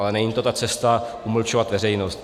Ale není to ta cesta umlčovat veřejnost.